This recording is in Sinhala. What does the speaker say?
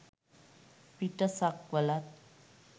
පිට සක්වළත්,